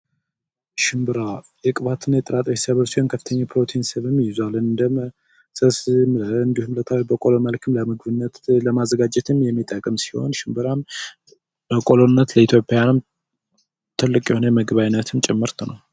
ሽንብራ የቅባትና የጥራጥሬ ሰብል ሲሆን በከፍተኛ ፕሮቲንን ይዟል እንደ ቆሎ መልኩ ለምግብነት ለማዘጋጀት የሚጠቅም ሲሆን ሽንብራም በቆሎነት ኢትዮጵያን ለመገበያነትም ጭምር ነው።